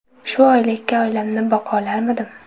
Shu oylikka oilamni boqolarmidim?